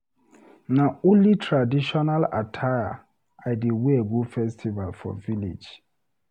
Na only traditional attire I dey wear go festival for village.